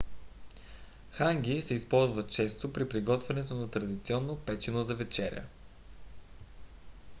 ханги се използва често при приготвянето на традиционно печено за вечеря